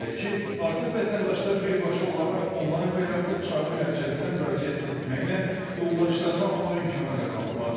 Belə ki, artıq vətəndaşlar birbaşa olaraq onlayn və yaxud çağrı mərkəzinə müraciət etməklə yollayışlarını almaq imkanı qazanıblar.